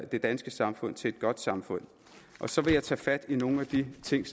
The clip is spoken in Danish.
det danske samfund til et godt samfund så vil jeg tage fat i nogle af de ting